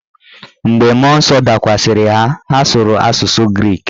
Mgbe mmụọ nsọ dakwasịrị ha, ha sụrụ asụsụ grik.